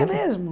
É mesmo?